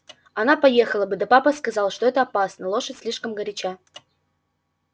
она поехала бы да папа сказал что это опасно лошадь слишком горяча